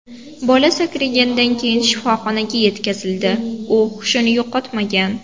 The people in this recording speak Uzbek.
Bola sakraganidan keyin shifoxonaga yetkazildi, u hushini yo‘qotmagan.